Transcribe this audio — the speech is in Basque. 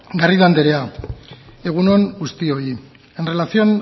garrido anderea egun on guztioi en relación